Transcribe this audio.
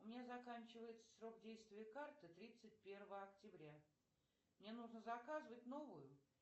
у меня заканчивается срок действия карты тридцать первого октября мне нужно заказывать новую